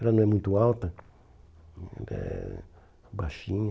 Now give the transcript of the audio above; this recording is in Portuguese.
Ela não é muito alta, é baixinha.